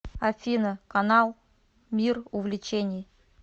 афина канал мир увлечений